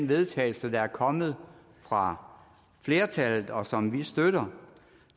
vedtagelse der er kommet fra flertallet og som vi støtter